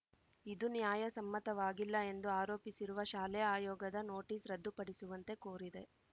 ಇದು ನ್ಯಾಯಸಮ್ಮತವಾಗಿಲ್ಲ ಎಂದು ಆರೋಪಿಸಿರುವ ಶಾಲೆ ಆಯೋಗದ ನೋಟಿಸ್‌ ರದ್ದುಪಡಿಸುವಂತೆ ಕೋರಿದೆ